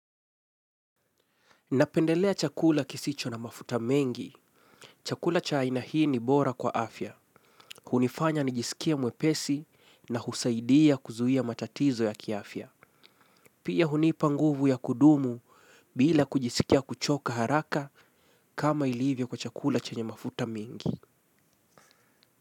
Napendelea chakula kisicho na mafuta mengi. Chakula cha aina hii ni bora kwa afya. Hunifanya nijisikie mwepesi na husaidia kuzuia matatizo ya kiafya. Pia hunipa nguvu ya kudumu bila kujisikia kuchoka haraka kama ilivyo kwa chakula chenye mafuta mingi.